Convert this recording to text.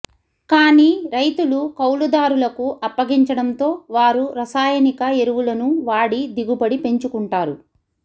కానీ రైతులు కౌలుదారులకు అప్పగించడంతో వారు రసాయనిక ఎరువులను వాడి దిగుబడి పెంచుకుంటారు